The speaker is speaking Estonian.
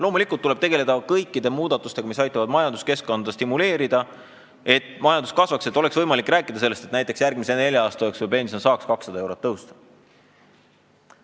Loomulikult tuleb tegeleda kõikide muudatustega, mis aitavad majanduskeskkonda stimuleerida, et majandus kasvaks ja oleks võimalik rääkida, et näiteks järgmise nelja aasta jooksul saab pension 200 eurot tõusta.